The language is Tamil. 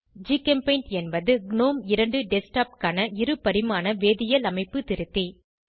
ஜிகெம்பெயிண்ட் என்பது க்ணோம் 2 டெஸ்க்டாப் க்கான இருபரிமாண வேதியியல் அமைப்பு திருத்தி